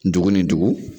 Dugu ni dugu